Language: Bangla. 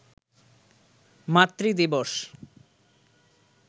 মাতৃ দিবস